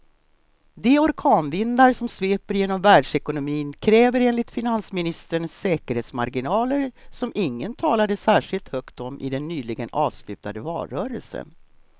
De orkanvindar som sveper genom världsekonomin kräver enligt finansministern säkerhetsmarginaler som ingen talade särskilt högt om i den nyligen avslutade valrörelsen.